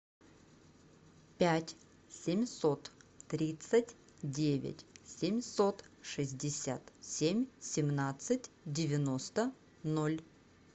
пять семьсот тридцать девять семьсот шестьдесят семь семнадцать девяносто ноль